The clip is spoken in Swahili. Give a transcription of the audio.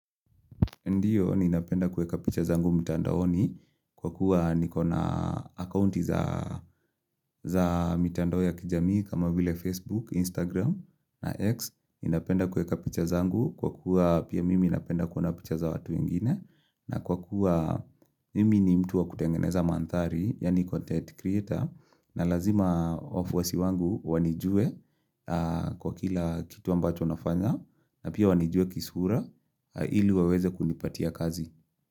Ndiyo, ninapenda kuweka picha zangu mtandaoni kwa kuwa nikona akaunti za mitandao ya kijamii kama vile Facebook, Instagram na X. Ninapenda kuweka picha zangu kwa kuwa pia mimi napenda kuona picha za watu wengine na kwa kuwa mimi ni mtu wa kutengeneza mandhari, Yani content creator na lazima wafuasi wangu wanijue kwa kila kitu ambacho nafanya na pia wanijue kisura ili waweze kunipatia kazi.